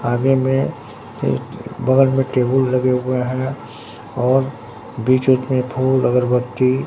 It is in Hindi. आगे में बगल में टेबुल लगे हुए है और बीच-उच में फूल अगरबत्ती --